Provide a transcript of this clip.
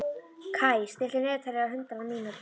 Kaj, stilltu niðurteljara á hundrað mínútur.